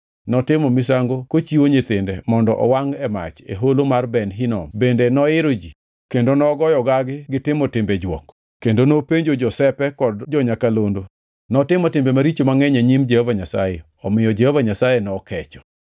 Notimo misango kochiwo nyithinde mondo owangʼ e mach e Holo mar Ben Hinom bende noiro ji kendo nogoyo gagi gi timo timbe jwok, kendo nopenjo josepe kod jo-nyakalondo. Notimo timbe maricho mangʼeny e nyim Jehova Nyasaye, omiyo Jehova Nyasaye nokecho.